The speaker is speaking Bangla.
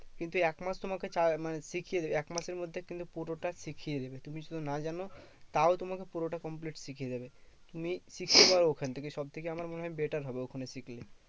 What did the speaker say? কিন্তু একমাস তোমাকে চা মানে শিখিয়ে একমাসের মধ্যে তুমি পুরোটা শিখিয়ে নেবে। তুমি শুধু না জানো তাও তোমাকে পুরোটা complete শিখিয়ে দেবে। তুমি শিখতে পারো ওখান থেকে সবথেকে আমার মনে হয় better হবে ওখানে শিখলে।